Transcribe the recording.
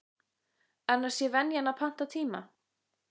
Annars sé venjan að panta tíma.